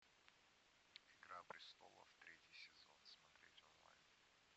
игра престолов третий сезон смотреть онлайн